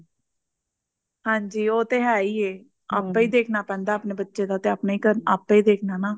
ਹਾਂਜੀ ਉਹ ਤੇ ਹੈ ਹੀ ਐ ਆਪੇ ਹੀ ਦੇਖਣਾ ਪੈਂਦਾ ਆਪਣੇ ਬੱਚਿਆਂ ਦਾ ਆਪੇ ਹੀ ਦੇਖਣਾ ਨਾ